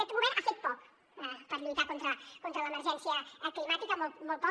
aquest govern ha fet poc per lluitar contra l’emergència climàtica molt poc